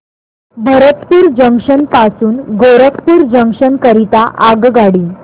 Bharatpur junction पासून Gorakhpur junction करीता आगगाडी